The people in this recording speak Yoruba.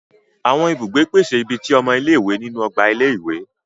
Awọn ibùgbé pèsè ìbí tí ọmọ ile-iwe nínú ọgbà ilé-ìwé.